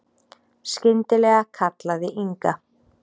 Skyndilega kallaði Inga